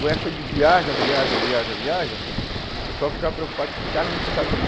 Com essa de viaja, viaja, viaja, viaja, o pessoal ficava preocupado que esse cara não se estabiliza.